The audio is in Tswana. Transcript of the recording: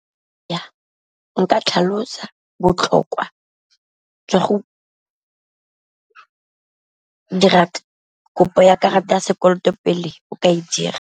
Nka tlhalosetsa botlhokwa jwa go dira kopo ya karata ya sekoloto pele o ka e dira.